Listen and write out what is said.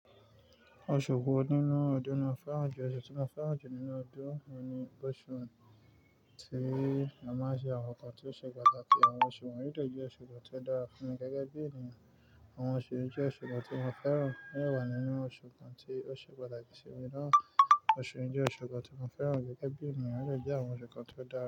Oṣù wo nínú ọdún lo fẹ́ràn jù? Oṣù tí mo fẹ́ràn jù nínú ọdún oun ni oṣù tí a máa ń ṣe àwọn nǹkan tí ó ṣe pàtàkì. Àwọn oṣù won yii de jẹ́ oṣù kan tí ó dára fún mi gẹ́gẹ́ bí ènìyàn. Àwọn oṣù yi jẹ́ oṣù kan tí mo fẹ́ràn. Wo de wà nínú oṣù kan tí ó ṣe pàtàkì sí mi náà? Oṣù yi jẹ́ oṣù kan tí mo fẹ́ràn gẹ́gẹ́ bí ènìyàn, ó dẹ́ àwọn oṣù kan tí ó dára.